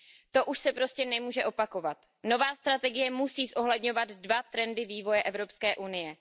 To už se prostě nemůže opakovat. Nová strategie musí zohledňovat dva trendy vývoje Evropské unie.